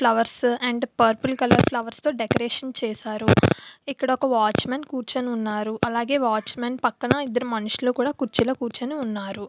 Flowers and purple colour flowers తో decoration చేశారు. ఇక్కడ ఒక వాచ్మెన్ కూర్చొని ఉన్నారు అలాగే వాచ్మెన్ పక్కన ఇద్దరు మనుషులు కుర్చీలో కూర్చొని ఉన్నారు.